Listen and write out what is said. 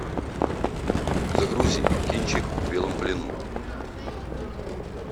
загрузи кинчик в белом плену